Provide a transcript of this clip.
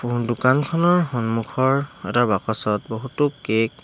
দোকানখনৰ সন্মুখৰ এটা বাকচত বহুতো কেক --